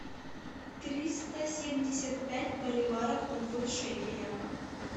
триста семьдесят пять боливаров в шекелях